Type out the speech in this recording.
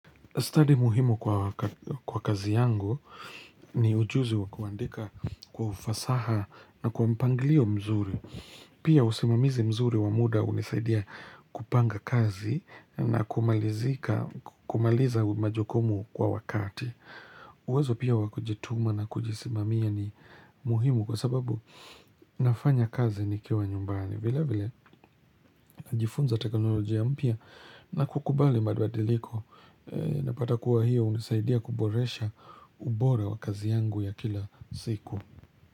Study muhimu kwa kazi yangu ni ujuzi wa kuandika kwa ufasaha na kwa mpanglio mzuri. Pia usimamizi mzuri wa muda hunisaidia kupanga kazi na kumaliza majukumu kwa wakati. Uwezo pia wakujituma na kujisimamia ni muhimu kwa sababu nafanya kazi nikiwa nyumbani. Vile vile najifunza teknolojia mpya na kukubali mabadiliko Napata kuwa hiyo hunisaidia kuboresha ubora wa kazi yangu ya kila siku.